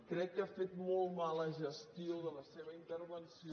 crec que ha fet molt mala gestió de la seva intervenció